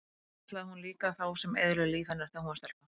En það kallaði hún líka þá sem eyðilögðu líf hennar þegar hún var stelpa.